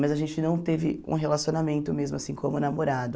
Mas a gente não teve um relacionamento mesmo assim como namorado.